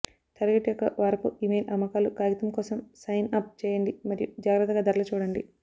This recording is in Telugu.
టార్గెట్ యొక్క వారపు ఇమెయిల్ అమ్మకాలు కాగితం కోసం సైన్ అప్ చేయండి మరియు జాగ్రత్తగా ధరలు చూడండి